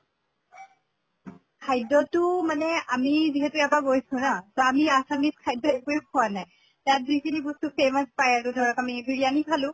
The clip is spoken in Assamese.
খাদ্য়তো মানে আমি যিহেতু ইয়াৰ পা গৈছো না, আমি assumes খাদ্য় একোয়ে খোৱা নাই। তাত যিখিনি বস্তু famous পায় আৰু ধৰক আমি বিৰিয়ানি খালো